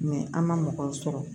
an ma mɔgɔw sɔrɔ